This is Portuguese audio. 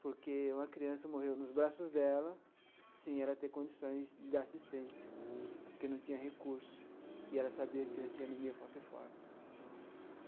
porque uma criança morreu nos braços dela sem ela ter condições de dar assistência, porque não tinha recurso, e ela sabia que ela tinha anemia falciforme.